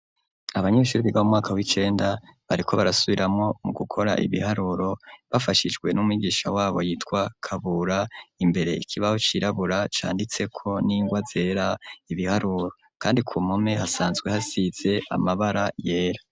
Abanyeshuri biga mu mwaka w'icenda, bariko barasubiramwo mu gukora ibiharuro, bafashijwe n'umigisha wabo yitwa Kabura; imbere ikibaho cirabura, canditseko n'ingwa zera ibiharuro, kandi ku mpome hasanzwe hasize amabara yera.